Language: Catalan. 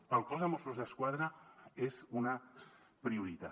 per al cos de mossos d’esquadra és una prioritat